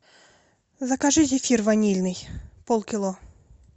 закажи зефир ванильный полкило